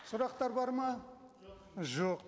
сұрақтар бар ма жоқ